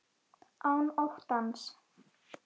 Án óttans.